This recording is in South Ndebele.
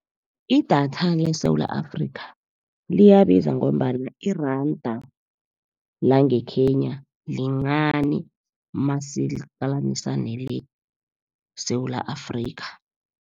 Idatha leSewula Afrika, liyabiza ngombana iranda langeKenya, lincani masilihlanganisa neleSewula Afrika.